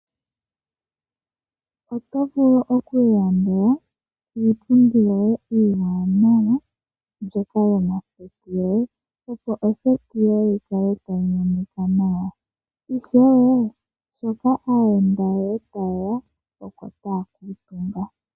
Oto vulu oku ilandela iipundi iiwaanawa mbyoka yomoseti yoye, opo oseti yoye yi kale tayi monika nawa. Ishewe sho aayenda yoye taye ya oko taya kuutumba.